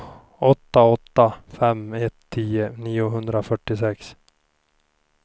åtta åtta fem ett tio niohundrafyrtiosex